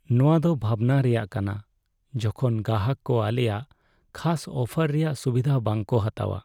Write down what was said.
ᱱᱚᱶᱟ ᱫᱚ ᱵᱷᱟᱵᱽᱱᱟ ᱨᱮᱭᱟᱜ ᱠᱟᱱᱟ ᱡᱚᱠᱷᱚᱱ ᱜᱟᱦᱟᱠ ᱠᱚ ᱟᱞᱮᱭᱟᱜ ᱠᱷᱟᱥ ᱚᱯᱷᱟᱨ ᱨᱮᱭᱟᱜ ᱥᱩᱵᱤᱫᱷᱟ ᱵᱟᱝᱠᱚ ᱦᱟᱛᱟᱣᱟ ᱾